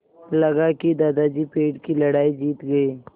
लगा कि दादाजी पेड़ की लड़ाई जीत गए